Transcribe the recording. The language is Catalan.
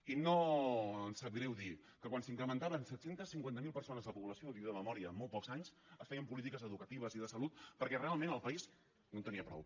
i no em sap greu dir que quan s’incrementava en set cents i cinquanta miler persones la població ho dic de memòria en molts pocs anys es feien polítiques educatives i de salut perquè realment el país no en tenia prou